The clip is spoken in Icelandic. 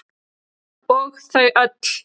Og þau öll.